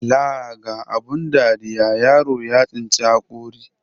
Laa ga abun dariya, yaro ya tsinci haƙori.